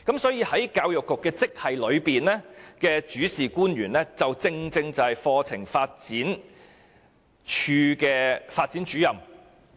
"所以，教育局職系的主事官員正是課程發展處課程發展主任。